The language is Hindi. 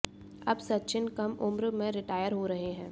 अब सचिन कम उम्र में रिटायर हो रहे हैं